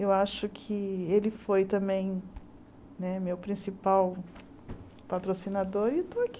Eu acho que Ele foi também né meu principal patrocinador e estou aqui.